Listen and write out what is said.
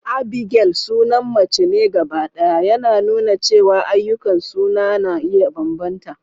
Abigail sunan mace ne gabaɗaya, yana nuna cewa ayyukan suna na iya bambanta.